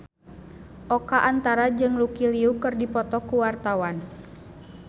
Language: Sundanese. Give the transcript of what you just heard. Oka Antara jeung Lucy Liu keur dipoto ku wartawan